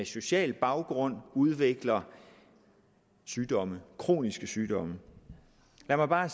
social baggrund udvikler sygdomme kroniske sygdomme lad mig bare